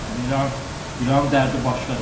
Yəni İran, İranın dərdi başqadır.